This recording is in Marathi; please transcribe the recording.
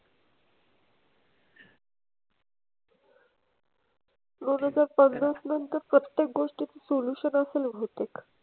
दोन हजार पन्नास नंतर प्रत्येक गोष्टीत solution असेल बहुतेक.